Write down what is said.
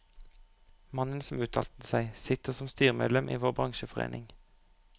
Mannen som uttalte seg, sitter som styremedlem i vår bransjeforening.